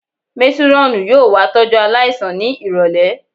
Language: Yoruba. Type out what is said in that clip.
Métírọ́ọ̀nù yóò wá tọ́jú aláìsàn ní ìrọ̀lẹ̀